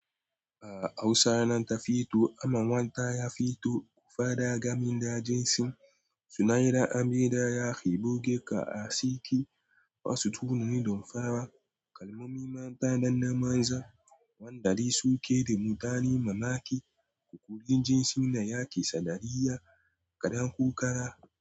A Hausa nan tafito aman wata ya fito, ku fada gamin da jinsi, suna yi ra'a, mai da yaki, bugge ka a siki, wasu tunani don farawa, kalmomi mata danna manza, wanda dai suke da mutane mamaki, ƙuƙaƙun jinsi na yake sadariyya, kaɗan ko ƙara.